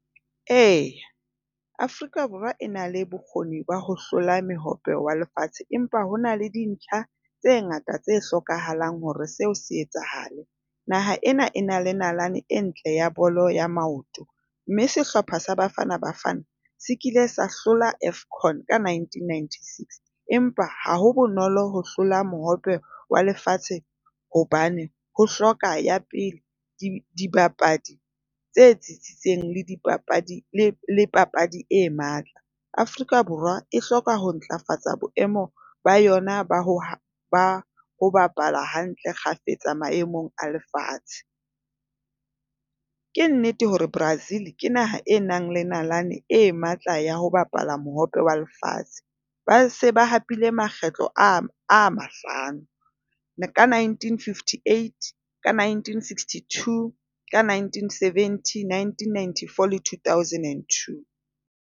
E, Afrika Borwa e na le bokgoni ba ho hlola Mohope wa Lefatshe, empa ho na le dintlha tse ngata tse hlokahalang hore seo se etsahale. Naha ena e na le nalane e ntle ya bolo ea maoto mme sehlopha sa Bafana Bafana se kile sa hlola AFCON ka nineteen ninety six. Empa ha ho bonolo ho hlola Mohope wa Lefatshe hobane ho hloka ya pele di dibapadi tse tsitsitseng le dipapadi le papadi e matla. Afrika Borwa e hloka ho ntlafatsa boemo ba yona ba ho bapala hantle kgafetsa maemong a lefatshe. Ke nnete hore Brazil ke naha e nang le nalane e matla ya ho bapalla Mohope wa Lefatshe. Ba se ba hapile makgetlo a mahlano. Ka nineteen fifty eight. Ka nineteen sixty two. Ka nineteen seventy, nineteen ninety four le two thousand and two.